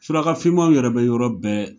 Suraka fimaw yɛrɛ be yɔrɔ bɛɛ